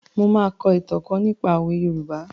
Mo máa kọ ìtàn kan nípa òwe Yorùbá.